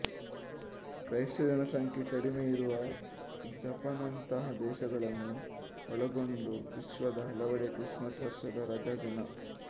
ಕ್ರೈಸ್ತ ಜನಸಂಖ್ಯೆ ಕಡಿಮೆ ಇರುವ ಜಪಾನ್ನಂತಹ ದೇಶಗಳನ್ನೂ ಒಳಗೊಂಡು ವಿಶ್ವದ ಹಲವೆಡೆ ಕ್ರಿಸ್ಮಸ್ ವರ್ಷದ ರಜಾದಿನ